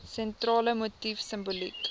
sentrale motief simboliek